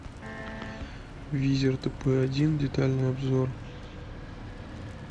визер тп один детальный обзор